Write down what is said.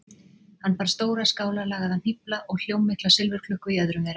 Hann bar stóra, skálarlagaða hnýfla og hljómmikla silfurklukku í öðrum þeirra.